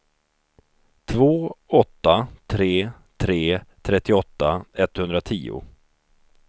två åtta tre tre trettioåtta etthundratio